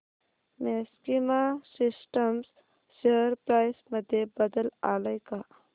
maxima Systems share price मध्ये बदल आलाय का